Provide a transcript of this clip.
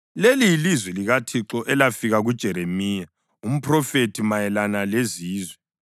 Leli yilizwi likaThixo elafika kuJeremiya umphrofethi mayelana lezizwe: